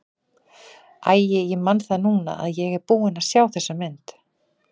Æi, ég man það núna að ég er búinn að sjá þessa mynd.